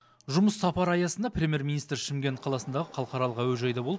жұмыс сапары аясында премьер министр шымкент қаласындағы халықаралық әуежайда болып